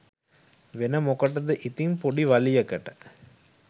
වෙන මොකටද ඉතින් පොඩි වලියකට